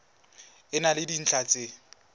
e na le dintlha tsa